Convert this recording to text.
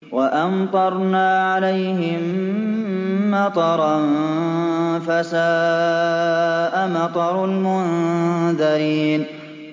وَأَمْطَرْنَا عَلَيْهِم مَّطَرًا ۖ فَسَاءَ مَطَرُ الْمُنذَرِينَ